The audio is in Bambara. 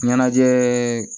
Ɲɛnajɛ